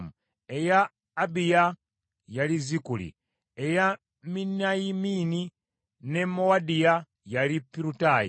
eya Abiya, yali Zikuli; eya Miniyamini ne Mowadiya, yali Pirutayi;